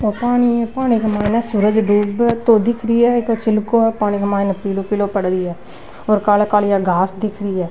ओ पानी है पानी के माइन सूरज डूब तो दिख रहो है चिलको है पानी के माइन पिलो पिलो पड़ री है और कालो कालो घास दिख री है।